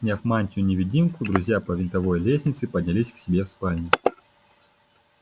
сняв мантию-невидимку друзья по винтовой лестнице поднялись к себе в спальню